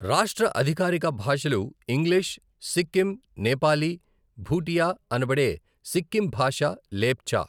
రాష్ట్ర అధికారిక భాషలు ఇంగ్లీష్, సిక్కిం నేపాలీ, భూటియా అనబడే సిక్కిం భాష, లేప్చా.